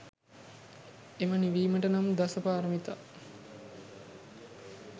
එම නිවීමට නම් දස පාරමිතා